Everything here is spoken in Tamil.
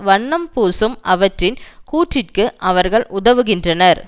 வண்ணம் பூசும் அவற்றின் கூற்றிற்கு அவர்கள் உதவுகின்றனர்